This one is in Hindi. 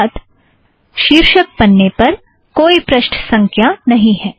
अर्थात शीर्षक पन्ने पर कोई पृष्ठ संख्या नहीं है